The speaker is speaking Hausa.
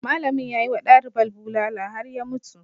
Malamin ya yi wa dalibar bulala har ya mutu.